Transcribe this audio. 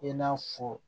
I n'a fɔ